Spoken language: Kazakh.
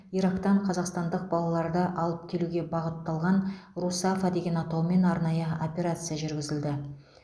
ирактан қазақстандық балаларды алып келуге бағытталған русафа деген атаумен арнайы операция жүргізілді